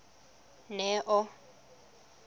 neo